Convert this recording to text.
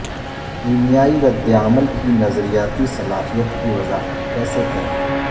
کیمیائی ردعمل کی نظریاتی صلاحیت کی وضاحت کیسے کریں